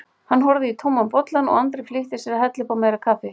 Hann horfði í tóman bollann og Andri flýtti sér að hella upp á meira kaffi.